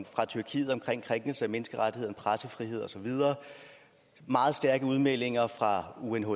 fra tyrkiet om krænkelser af menneskerettigheder pressefrihed osv meget stærke udmeldinger fra unhcr